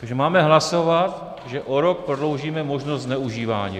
Takže máme hlasovat, že o rok prodloužíme možnost zneužívání?